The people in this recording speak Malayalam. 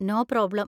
No problem.